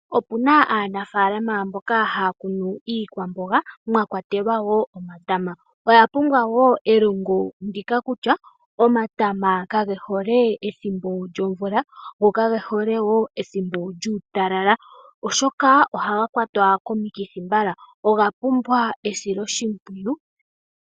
Opuna aakwashigwana mboka haya kunu iikwamboga mwakwatelwa wo omatama. Oya pumbwa wo elongo ndika kutya omatama ngaka kage hole ethimbo lyomvula go kage hole wo ethimbo lyuutalala. Oshoka ohaga kwatwa komikithi mbala. Oga pumbwa esiloshimpwiyu.